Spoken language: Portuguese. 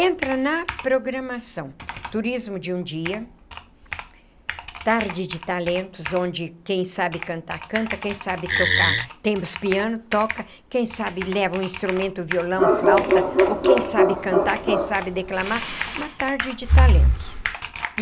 Entra na programação, turismo de um dia, tarde de talentos, onde quem sabe cantar, canta, quem sabe tocar, temos piano, toca, quem sabe leva um instrumento, violão, flauta, ou quem sabe cantar, quem sabe declamar, uma tarde de talentos.